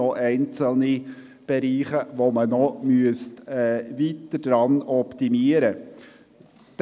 Es gibt einzelne Bereiche, die man weiter optimieren müsste.